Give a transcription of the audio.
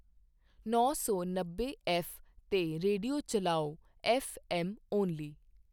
ਨੌ ਸੌ ਨੱਬੇ ਐੱਫ਼ 'ਤੇ ਰੇਡੀਓ ਚਲਾਓ ਐੱਫ਼ ਐੱਮ ਓਨਲੀ